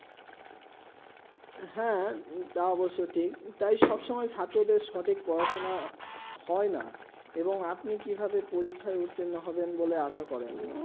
হেঁ তাও অবসয়ে ঠিক তাই সব সময়ে ছাত্র দেড় সঠিক পড়া সোনা হয়ে না এবং আপনি কি ভাবে পরীক্ষা উট্রিনো হবেন বলে আসা করেন